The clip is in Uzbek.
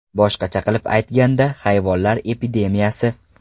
Boshqacha qilib aytganda, hayvonlar epidemiyasi.